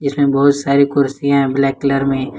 बहुत सारी कुर्सियां हैं ब्लैक कलर में।